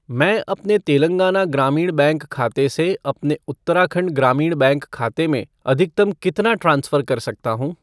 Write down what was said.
मैं अपने तेलंगाना ग्रामीण बैंक खाते से अपने उत्तराखंड ग्रामीण बैंक खाते में अधिकतम कितना ट्रांसफ़र कर सकता हूँ?